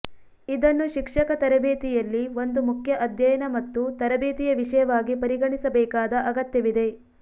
ಇದನ್ನು ಶಿಕ್ಷಕ ತರಬೇತಿಯಲ್ಲಿ ಒಂದು ಮುಖ್ಯ ಅಧ್ಯಯನ ಮತ್ತು ತರಬೇತಿಯ ವಿಷಯವಾಗಿ ಪರಿಗಣಿಸಬೇಕಾದ ಅಗತ್ಯವಿದೆ